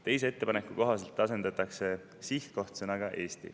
Teise ettepaneku kohaselt asendatakse sõna "sihtkoht" sõnaga "Eesti".